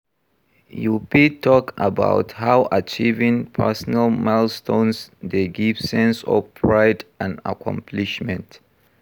You fit talk about how achieving personal milestones dey give sense of pride and accomplishment.